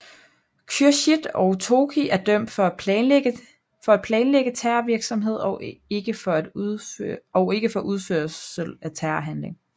Khürshid og Tohki er dømt for at planlægge terrorvirksomhed og ikke for udførelse af en terrorhandling